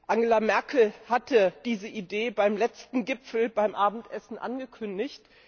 Angela Merkel hatte diese Idee beim letzten Gipfel beim Abendessen angekündigt.